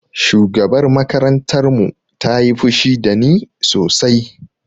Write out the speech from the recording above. Shugabar makarantar mu ta yi fushi da ni sosai